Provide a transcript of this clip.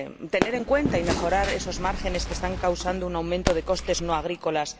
tener en cuenta y mejorar esos márgenes que están causando un aumento de los costes no agrícolas